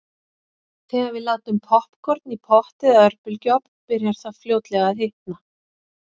Þegar við látum poppkorn í pott eða örbylgjuofn byrjar það fljótlega að hitna.